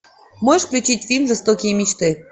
можешь включить фильм жестокие мечты